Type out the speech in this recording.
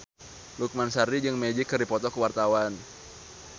Lukman Sardi jeung Magic keur dipoto ku wartawan